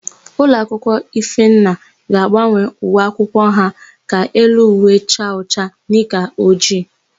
Ulọakwụkwọ Ifenna ga-agbanwe uwe akwụkwọ ha ka elu uwe chaa ọcha, nika ojii.